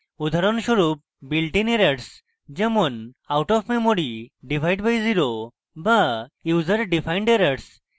উদাহরণস্বরূপ builtin errors যেমন out of memory divide by zero বা user defined errors